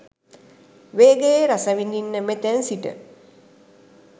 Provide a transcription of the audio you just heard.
වේගයේ රස විඳින්න මෙතැන් සිට